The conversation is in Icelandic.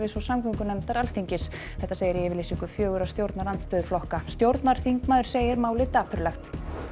og samgöngunefndar Alþingis segir í yfirlýsingu fjögurra stjórnarandstöðuflokka stjórnarþingmaður segir málið dapurlegt